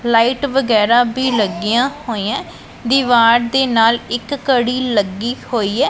Light ਵਗੈਰਾ ਵੀ ਲੱਗੀਆਂ ਹੋਈਆਂ ਦੀਵਾਰ ਦੇ ਨਾਲ ਇੱਕ ਘੜੀ ਲੱਗੀ ਹੋਈ ਹੈ।